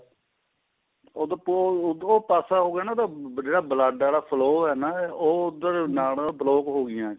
ਉਹਦ ਉੱਧਰੋਂ ਪਾਸਾ ਹੋ ਗਿਆ ਨਾ ਉਹਦਾ ਜਿਹੜਾ blood ਆਲਾ flow ਏ ਨਾ ਉਹ ਉੱਧਰ ਨਾੜਾਂ block ਹੋ ਗਈਆਂ